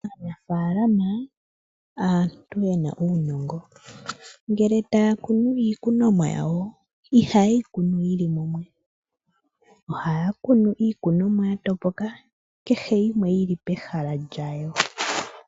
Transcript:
Aanafalama aantu yena uunongo ngele taya kunu iikunomwa yawo ihaye yi kunu yili mumwe, ohaye yi kunu ya topoka, kehe yimwe yili pehala lyawo.